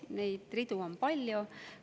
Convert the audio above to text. Neid ridu on palju.